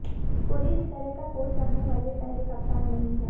कोहली इस तरह का कोच चाहने वाले पहले कप्तान नहीं हैं